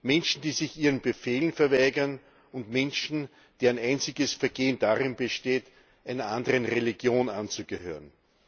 Menschen, die sich ihren Befehlen verweigern, und Menschen, deren einziges Vergehen darin besteht, einer anderen Religion anzugehören.